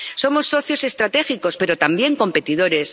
Somos socios estratégicos, pero también competidores.